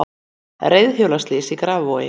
Reiðhjólaslys í Grafarvogi